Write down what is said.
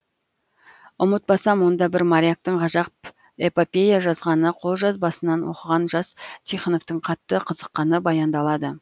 ұмытпасам онда бір моряктың ғажап эпопея жазғаны қолжазбасынан оқыған жас тихоновтың қатты қызыққаны баяндалады